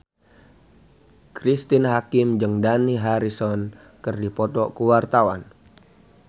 Cristine Hakim jeung Dani Harrison keur dipoto ku wartawan